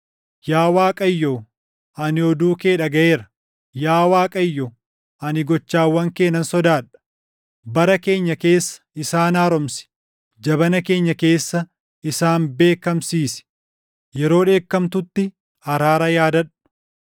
Yaa Waaqayyo, ani oduu kee dhagaʼeera; yaa Waaqayyo, ani gochawwan kee nan sodaadha. Bara keenya keessa isaan haaromsi; jabana keenya keessa isaan beekkamsiisi; yeroo dheekamtutti araara yaadadhu.